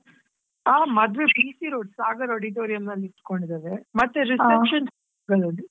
ಆ ಮದುವೆ BC road sagar auditorium ಅಲ್ಲಿ ಇಟ್ಕೊಂಡಿದ್ದೇವೆ ಮತ್ತೆ reception .